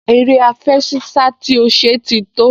Eré àfẹṣinsá tí ó ṣe ti tó